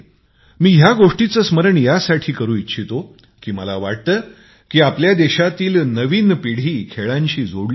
मी या गोष्टीचे स्मरण यासाठी ही करू इच्छितो की मला वाटते की आपल्या देशातील नवी पिढी खेळांशी जोडली जावी